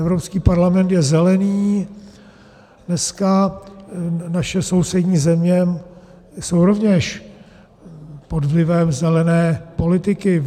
Evropský parlament je zelený, dneska naše sousední země jsou rovněž pod vlivem zelené politiky.